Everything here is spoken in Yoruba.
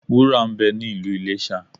Wúrà ń bẹ ní Ìlú Iléṣà.